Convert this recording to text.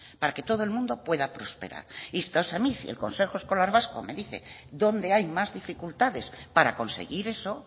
para que todo el mundo pueda prosperar y entonces a mí si el consejo escolar vasco me dice dónde hay más dificultades para conseguir eso